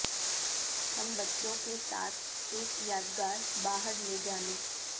ہم بچوں کے ساتھ ایک یادگار باہر لے جانے